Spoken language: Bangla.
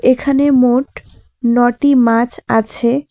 এখানে মোট ন'টি মাছ আছে।